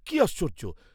কি আশ্চর্য্য?